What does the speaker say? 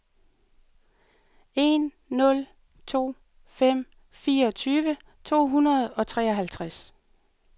en nul to fem fireogtyve to hundrede og treoghalvtreds